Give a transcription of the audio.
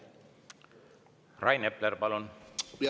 Rain Epler, palun!